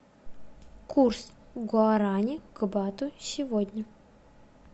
курс гуарани к бату сегодня